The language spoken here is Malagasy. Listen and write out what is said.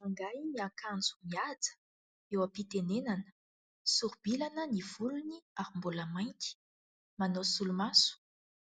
Rangahy miakanjo mihaja eo am-pitenenana. Soro-bilana ny volony ary mbola mainty, manao solomaso,